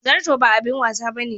Zarto ba abin wasa bane.